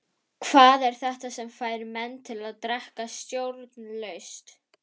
Hvað er þetta sem fær menn til að drekka stjórnlaust?